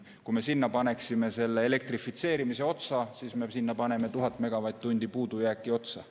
Kui me paneksime selle elektrifitseerimise otsa, siis me paneme sinna 1000 megavatt-tundi puudujääki otsa.